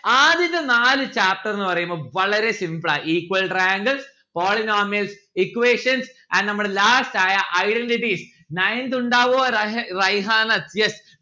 ആദ്യത്തെ നാല് chapter ന്ന് പറയുമ്പോ വളരെ simple ആ equal triangle, polynomials, equations, and നമ്മള last ആയ identity. ninth ഉണ്ടാവോ രഹ റൈഹാനത് yes